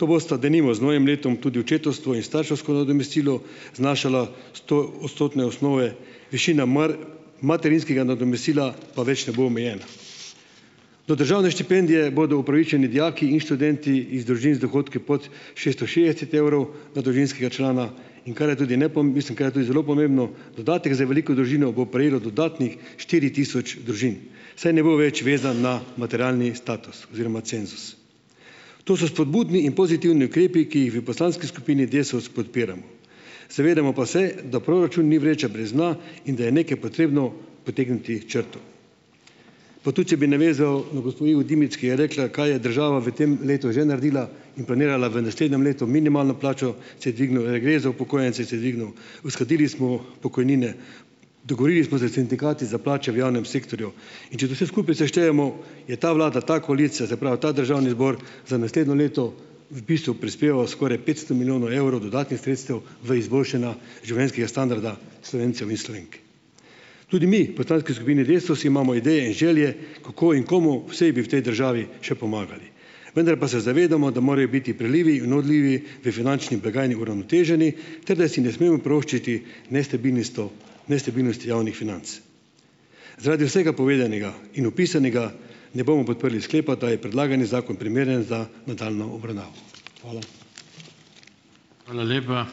To bosta denimo z novim letom tudi očetovstvo in starševsko nadomestilo znašala stoodstotne osnove, višina materinskega nadomestila pa več ne bo omejena. Do državne štipendije bodo upravičeni dijaki in študenti iz družin z dohodki pod šeststo šestdeset evrov na družinskega člana, in kar je tudi mislim, kar je tudi zelo pomembno, dodatek za veliko družino bo prejelo dodatnih štiri tisoč družin, saj ne bo več vezan na materialni status oziroma cenzus. To so spodbudni in pozitivni ukrepi, ki jih v poslanski skupini Desus podpiramo. Zavedamo pa se, da proračun ni vreča brez dna in da je nekaj potrebno potegniti črto. Pa tu če bi navezal na gospo Ivo Dimic, ki je rekla: "Kaj je država v tem letu že naredila in planirala v naslednjem letu - minimalna plača se je dvignila, regres za upokojence se je dvignil, uskladili smo pokojnine, dogovorili smo se s sindikati za plače v javnem sektorju." In če to vse skupaj seštejemo, je ta vlada, ta koalicija, se pravi ta državni zbor za naslednje leto v bistvu prispeval skoraj petsto milijonov evrov dodatnih sredstev v izboljšanja življenjskega standarda Slovencev in Slovenk. Tudi mi v poslanski skupini Desus imamo ideje in želje, kako in komu vse bi v tej državi še pomagali, vendar pa se zavedamo, da morajo biti prilivi in odlivi v finančni blagajni uravnoteženi, ter da si ne smemo privoščiti nestabilnistov nestabilnosti javnih financ. Zaradi vsega povedanega in opisanega ne bomo podprli sklepa, da je predlagani zakon primeren za nadaljnjo obravnavo. Hvala.